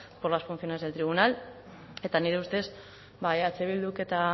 por las funciones del tribunal eta nire ustez eh bilduk eta